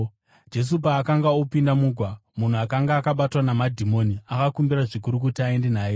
Jesu paakanga opinda mugwa, munhu akanga akabatwa namadhimoni akakumbira zvikuru kuti aende naye.